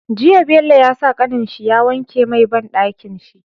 Jiya Bello ya sa kanin shi ya wanke mai banɗakin shi